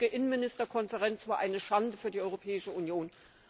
Die gestrige Innenminister Konferenz war eine Schande für die Europäische Union.